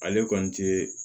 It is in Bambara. Ale kɔni te